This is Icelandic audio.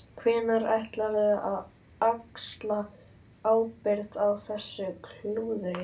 Hvernig ætlarðu að axla ábyrgð á þessu klúðri?